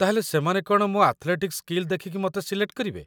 ତା'ହେଲେ ସେମାନେ କ'ଣ ମୋ ଆଥ୍‌ଲେଟିକ୍ ସ୍କିଲ୍ ଦେଖିକି ମତେ ସିଲେକ୍ଟ କରିବେ?